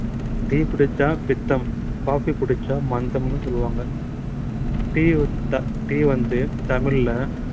tea குடிச்சா பித்தம் coffee குடிச்சா மந்தம்ன்னு சொல்லுவாங்க tea வித்தா tea வந்து தமிழ்ல